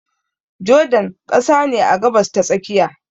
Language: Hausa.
Jordan ƙasa ne a Gabas ta tsakiya